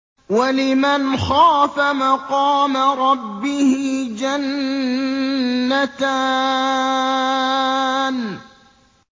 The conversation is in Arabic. وَلِمَنْ خَافَ مَقَامَ رَبِّهِ جَنَّتَانِ